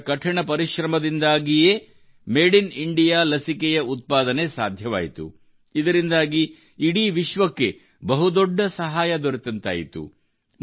ಅವರ ಕಠಿಣ ಪರಿಶ್ರಮದಿಂದಾಗಿಯೇ ಮಾಡೆ ಇನ್ ಇಂಡಿಯಾ ಲಸಿಕೆಯ ಉತ್ಪಾದನೆ ಸಾಧ್ಯವಾಯಿತು ಇದರಿಂದಾಗಿ ಇಡೀ ವಿಶ್ವಕ್ಕೆ ಬಹುದೊಡ್ಡ ಸಹಾಯ ದೊರೆತಂತಾಯಿತು